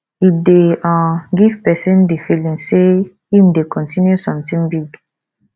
e dey um give person di feeling sey im dey continue something big